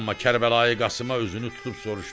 Amma Kərbəlayı Qasıma özünü tutub soruşdu: